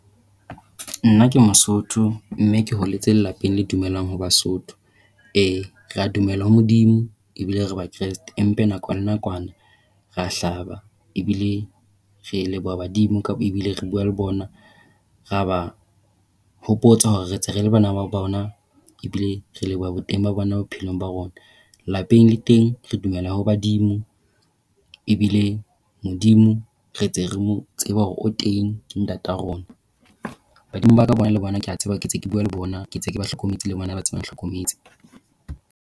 Nna ke Mosotho, mme ke holetse lapeng le dumellang ho Basotho. Eh re a dumela ho Modimo, e bile re bakresete. Empa nako le nakwana re a hlaba ebile re leboha badimo re bua le bona. Re a ba hopotsa hore re ntse re le bana ba bona ebile re leboha boteng ba bona bophelong ba rona. Lapeng le teng re dumela ho badimo ebile Modimo re ntse re mo tseba hore o teng ke Ntate wa rona. Badimo ba ka bona le bona, ke a ba tseba ke ntse ke bua le bona. Ke ntse ke ba hlokometse le bona ba ntse ba ntlhokometse.